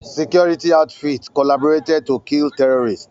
Security outfits collaborated to kill terrorists